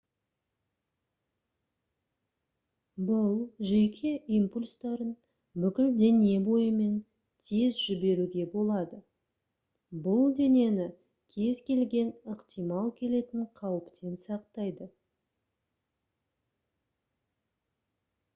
бұл жүйке импульстарын бүкіл дене бойымен тез жіберуге болады бұл денені кез-келген ықтимал келетін қауіптен сақтайды